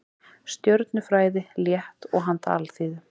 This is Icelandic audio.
Stjörnufræði, létt og handa alþýðu.